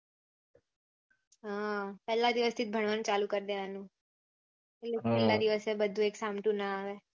હા પેહલા દિવસ થી જ ભણવાનું ચાલુ કરી દેવાનું પહચી છેલા દિવસે બધું એક સામટું ના આવે